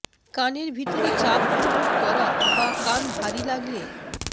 কানের ভিতরে চাপ অনুভব করা বা কান ভারী লাগলে